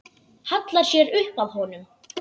Hallar sér upp að honum.